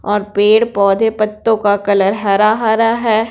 और पेड़ पौधे पत्तों का कलर हरा-हरा है।